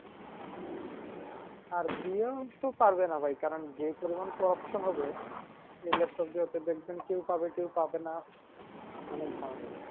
আর দিয়েও তো পারবেনা ভাই কারণ যে পরিমান corruption হবে এই laptop দিয়ে হয়তো দেখবেন কেউ পাবে কেউ পাবে না মানে জ্বালা